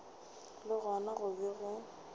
le gona go be go